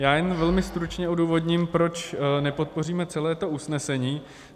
Já jen velmi stručně odůvodním, proč nepodpoříme celé to usnesení.